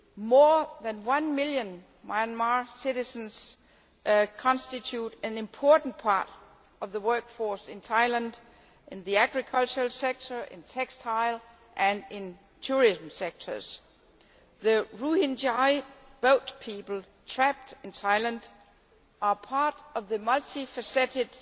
More than one million Myanmar citizens constitute an important part of the workforce in Thailand in the agricultural sector, in textiles and in the tourism sector. The Rohingya boat people trapped in Thailand are part of the multi faceted,